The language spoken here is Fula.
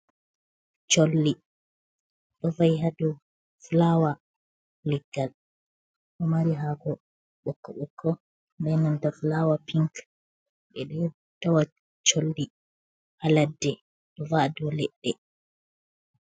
Cholli ɗo va'i ha dou fulaawa leggal ɗo mari hako ɓokko Nikko benanta fulaawa pink ɓeɗo tawa cholli ha ladde ɗo va'a dow leɗɗe.